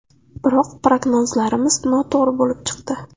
Biroq prognozlarimiz noto‘g‘ri bo‘lib chiqdi.